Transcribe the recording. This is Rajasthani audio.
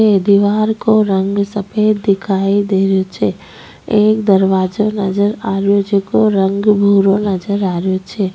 अ दिवार को रंग सफ़ेद दिखाई दे रो छे एक दरवाजो नजर आ रो जेको रंग भुरा नजर आ रो छे।